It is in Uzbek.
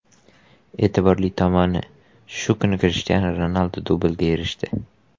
E’tiborli tomoni, shu kuni Krishtianu Ronaldu dublga erishdi.